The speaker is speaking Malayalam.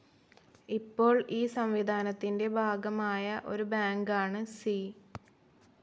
ഇപ്പോൾ ഈ സംവിധാനത്തിന്റെ ഭാഗമായ ഒരു ബാങ്കാണ് സി.